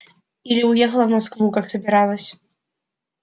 или уехала в москву как собиралась